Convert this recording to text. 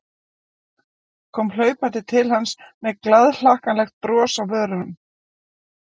Kom hlaupandi til hans með glaðhlakkalegt bros á vörunum.